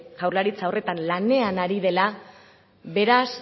jaurlaritza horretan lanean ari dela beraz